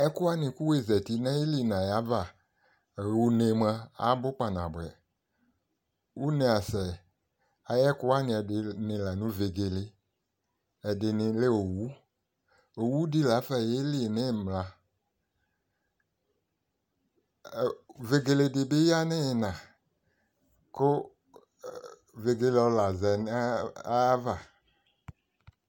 Ɛkʋwanɩ kʋ wʋ zati n'ayili n'ayava ɣ'une mua abʋ kpanabʋɛ Une asɛ ayʋ ɛkʋɛdɩnɩ lanʋ vegele, ɛdɩnɩ lɛ owu Owu dɩ lafa yeli n'ɩmla, vegele dɩ bɩ ya n'iina kʋ vegele ɔlazɛni yɛ zã n'ayava